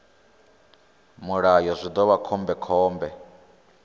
mulayo zwi ḓo vha khombekhombe